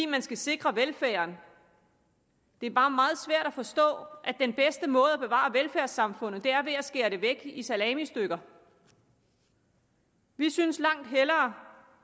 man skal sikre velfærden det er bare meget svært at forstå at den bedste måde at bevare velfærdssamfundet på er ved at skære det væk i salamistykker vi synes langt hellere